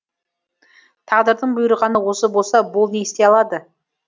тағдырдың бұйырғаны осы болса бұл не істей алады